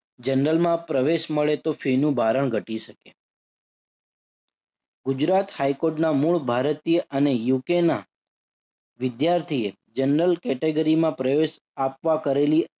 general માં પ્રવેશ મળે તો ફીનું ભારણ ઘટી શકે. ગુજરાત હાઈ કોર્ટના મૂળ ભારતીય અને UK ના વિદ્યાર્થીએ general category માં પ્રવેશ આપવા કરેલી